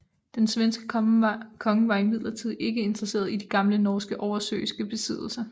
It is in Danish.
Den svenske konge var imidlertid ikke interesseret i de gamle norske oversøiske besiddelser